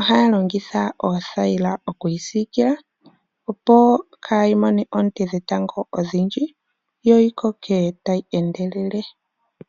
ohaya longitha oothayila opo yeyi siikile kaayimone oonte dhetango odhindji yo yikoke tayi endelele.